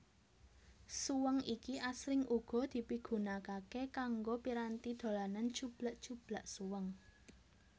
Suweng iki asring uga dipigunakaké kanggo piranti dolanan cublak cublak suweng